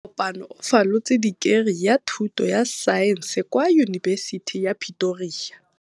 Kopanô o falotse dikeri ya thutô ya Saense kwa Yunibesiti ya Pretoria.